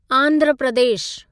Andhra Pradesh